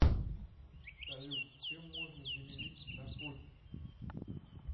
салют чем можно заменить наркотики